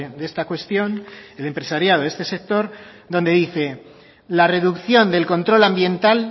de esta cuestión el empresariado de este sector donde dice la reducción del control ambiental